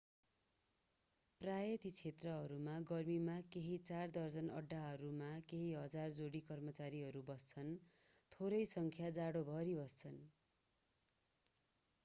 प्रायः ती क्षेत्रहरूमा गर्मीमा केही चार दर्जन अड्‍डाहरूमा केही हजार जोडी कर्मचारीहरू बस्छन्; थोरै संख्या जाडोभरि बस्छन्।